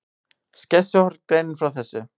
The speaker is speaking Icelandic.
Skessuhorn greinir frá þessu